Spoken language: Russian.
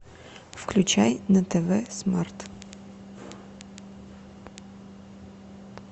включай на тв смарт